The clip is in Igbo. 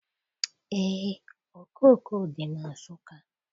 Eé, okooko dị na Nsụka.